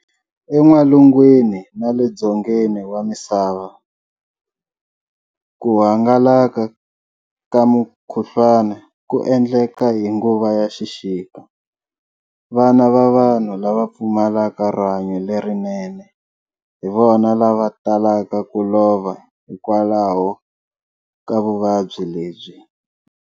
En'walungwini na le Dzongeni wa misava, ku hangalaka ka mukhuhlwana ku endleka hi nguva ya xixika. Vana na vanhu lava pfumalaka rihanyo lerinene, hi vona lava talaka ku lova hikwalaho ka vuvabyi lebyi.